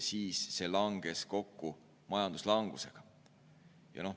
Seekord see langes kokku majanduslangusega.